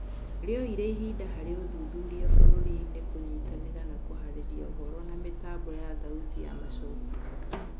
Rĩoire ihinda harĩ ũthuthuria bũrũri-inĩ kũnyitanĩra na kũharĩria ũhũro na mĩtambo ya thauti ya macokio.